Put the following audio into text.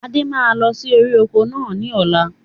Adé máa lọ sí orí oko náà ni ọ̀la